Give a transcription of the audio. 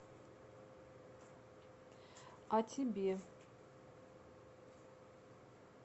а тебе